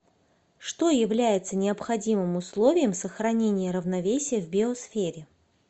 что является необходимым условием сохранения равновесия в биосфере